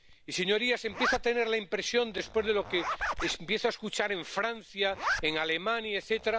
Y, señorías, empiezo a tener la impresión —después de lo que empiezo a escuchar en Francia, en Alemania, etc.—